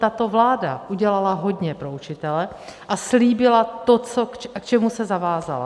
Tato vláda udělala hodně pro učitele a slíbila to, k čemu se zavázala.